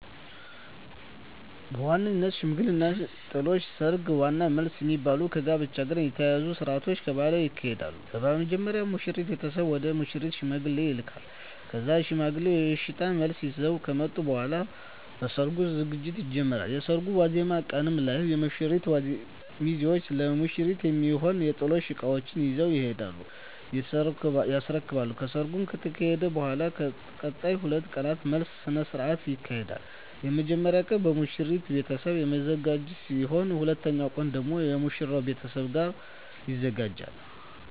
በዋነኝነት ሽምግልና፣ ጥሎሽ፣ ሰርግ እና መልስ የሚባሉ ከጋብቻ ጋር የተያያዙ ስርአቶች በባህሌ ይካሄዳሉ። በመጀመሪያ የሙሽራው ቤተሰብ ወደ ሙሽሪት ሽማግሌዎችን ይልካል ከዛም ሽማግሌዎቹ የእሽታ መልስ ይዘው ከመጡ በኃላ ለሰርጉ ዝግጅት ይጀመራል። የሰርጉ ዋዜማ ቀን ላይ የሙሽራው ሚዜዎች ለሙሽሪት የሚሆኑ የጥሎሽ እቃዎችን ይዘው ይሄዱና ያስረክባሉ። ከሰርጉ ከተካሄደ በኃላም ለቀጣይ 2 ቀናት መልስ ስነ ስርዓት ይካሄዳል። የመጀመሪያው ቀን በሙሽሪት ቤተሰብ የሚዘጋጅ ሲሆን ሁለተኛው ቀን ደግሞ የሙሽራው ቤተሰብ ያዘጋጃል።